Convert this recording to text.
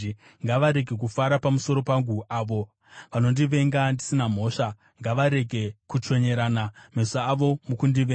Ngavarege kufara pamusoro pangu avo vanondivenga ndisina mhosva; vanondivenga ndisina mhosva ngavarege kuchonyerana meso avo mukundivenga.